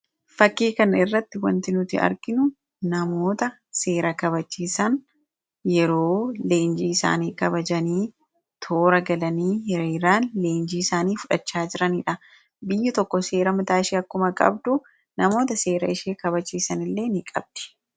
Fakkii kanarratti wanti nuti arginu namoota seera kabachiisan yeroo leenjii isaanii kabajanii toora galanii hiriiraan leenjii isaanii fudhachaa jiraniidha. Biyyi tokko seera mataa ishee akkuma qabdu, Namoota seera ishee kabachiisanillee ni qabdi